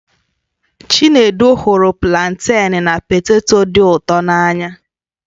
Chinedu hụrụ planten na poteto dị ụtọ n'anya.